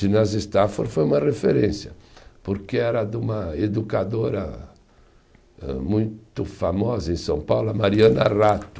Ginásio Stafford foi uma referência, porque era de uma educadora âh muito famosa em São Paulo, a Mariana Rato.